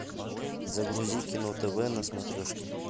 загрузи кино тв на смотрешке